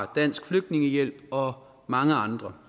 dansk flygtningehjælp og mange andre